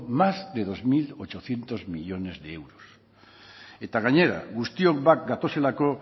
más de dos mil ochocientos millónes de euros eta gainera guztiok bat datozelako